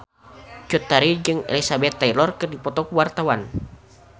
Cut Tari jeung Elizabeth Taylor keur dipoto ku wartawan